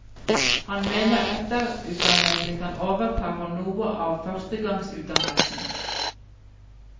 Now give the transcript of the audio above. Han mener etterutdannelse kan overta for noe av førstegangsutdannelsen.